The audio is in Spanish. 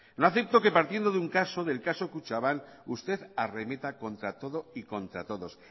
no acepto que partiendo de un caso del caso kutxabank usted arremeta contra todo y contra todos